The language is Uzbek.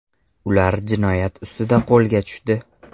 Ular jinoyat ustida qo‘lga tushdi.